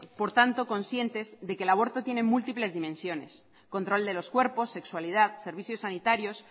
por tanto concientes de que el aborto tiene múltiples dimensiones control de los cuerpos sexualidad servicio sanitarios